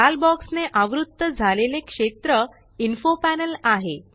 लाल बॉक्स ने आवृत्त झालेले क्षेत्र इन्फो पॅनल आहे